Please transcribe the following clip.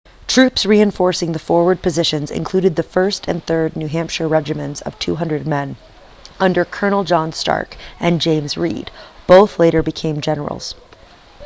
troops reinforcing the forward positions included the 1st and 3rd new hampshire regiments of 200 men under colonels john stark and james reed both later became generals